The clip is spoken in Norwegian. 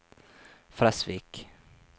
Fresvik